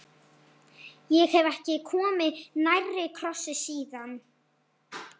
Ég hef ekki komið nærri krossi síðan.